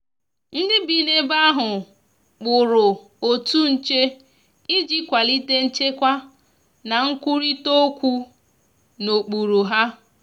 ndi bi n'ebe ahu kpụrụ otụ nche ịjị kwalite nchekwa na nkwụrita okwu na okpụrụ ha